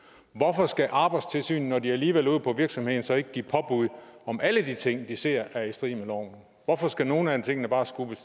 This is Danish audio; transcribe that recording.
hvorfor skal arbejdstilsynet når de alligevel er ude på virksomheden så ikke give påbud om alle de ting som de ser er i strid med loven hvorfor skal nogen af tingene bare skulle